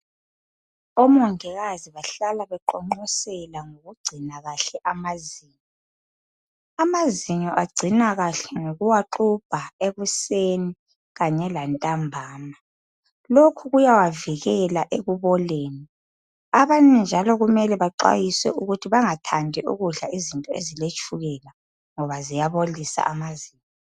Omongikazi bahlala beqonqosela ngokugcina kuhle amazinyo. Amazinyo agcinwa kahle ngikuwagxubha ekuseni Kanye lantambama. Lokhu kuyawavikela ekuboleni. Abanye njalo kumele baxwayiswe ukuthi bengathandi ukudla izinto eziletshukela ngoba ziyabolisa amazinyo.